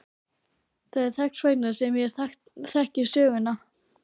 Það er þess vegna sem ég þekki söguna.